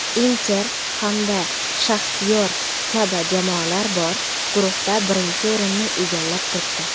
"Inter" hamda "Shaxtyor" kabi jamoalar bor guruhda birinchi o‘rinni egallab turibdi.